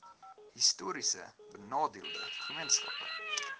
histories benadeelde gemeenskappe